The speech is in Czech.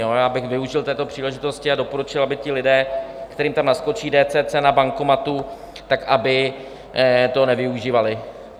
Já bych využil této příležitosti a doporučil, aby ti lidé, kterým tam naskočí DCC na bankomatu, tak aby to nevyužívali.